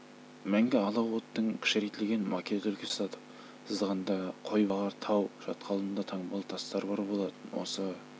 мәңгі алау оттың кішірейтілген макет үлгісін жасадық сызғанда қойбағар тау шатқалында таңбалы тастар бар болатын осы